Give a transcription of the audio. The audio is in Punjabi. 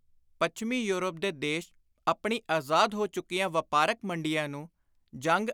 ਪੱਛਮੀ ਯੋਰਪ ਦੇ ਦੇਸ਼ ਆਪਣੀ ਆਜ਼ਾਦ ਹੋ ਚੁੱਕੀਆਂ ਵਾਪਾਰਕ ਮੰਡੀਆਂ ਨੂੰ ਜੰਗ